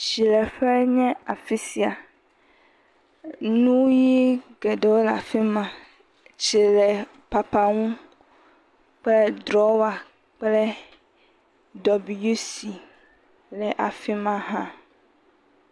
Tsileƒee nye afi sia. Nu ʋii geɖewo le afi ma. Tsilepapaŋu ƒe drɔwa kple WC le afi ma hã.